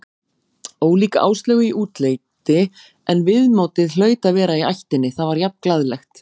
Ólík Áslaugu í útliti en viðmótið hlaut að vera í ættinni, það var jafn glaðlegt.